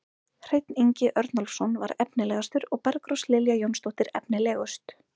Hreinn Ingi Örnólfsson var efnilegastur og Bergrós Lilja Jónsdóttir efnilegust.